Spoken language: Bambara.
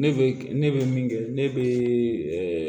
Ne bɛ ne bɛ min kɛ ne bɛ